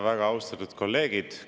Väga austatud kolleegid!